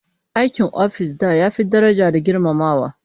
Aikin office da ya fi daraja da girmamawa